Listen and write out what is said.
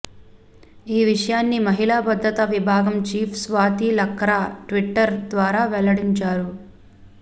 ఈ విషయాన్ని మహిళా భద్రత విభాగం చీఫ్ స్వాతి లక్రా ట్విటర్ ద్వారా వెల్లడించారు